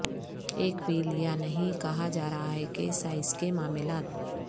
ایک وہیل یا نہیں کہا جا رہا ہے کے لئے سائز کے معاملات